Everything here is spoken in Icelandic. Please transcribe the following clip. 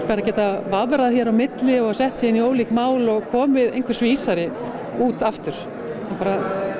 að geta vafrað hérna á milli og sett sig inn í ólík mál og komið einhvers vísari út aftur